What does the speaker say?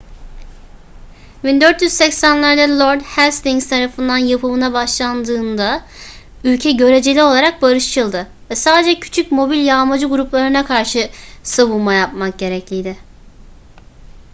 1480'lerde lord hastings tarafından yapımına başlandığında ülke göreceli olarak barışçıldı ve sadece küçük mobil yağmacı gruplarına karşı savunma yapmak gerekliydi